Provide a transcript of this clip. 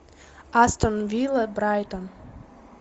астон вилла брайтон